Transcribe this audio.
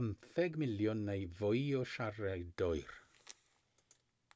50 miliwn neu fwy o siaradwyr